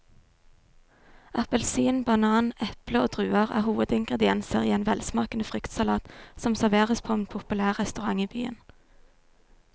Appelsin, banan, eple og druer er hovedingredienser i en velsmakende fruktsalat som serveres på en populær restaurant i byen.